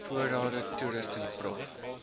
voorrade toerusting prof